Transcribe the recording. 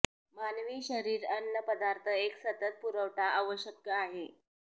मानवी शरीर अन्न पदार्थ एक सतत पुरवठा आवश्यक आहे